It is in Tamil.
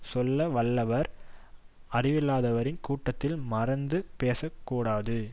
சொல்ல வல்லவர் அறிவில்லாதவரின் கூட்டத்தில் மறந்தும் பேசக் கூடாது